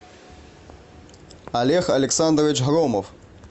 олег александрович громов